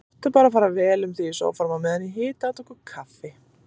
Láttu bara fara vel um þig í sófanum á meðan ég hita handa okkur kaffi.